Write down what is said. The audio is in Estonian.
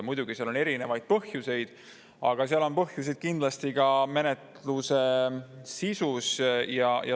Muidugi, seal on erinevaid põhjuseid, põhjused on kindlasti ka menetluse sisus.